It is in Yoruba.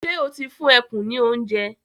Ṣé o ti fún ẹkùn ní oúnjẹ?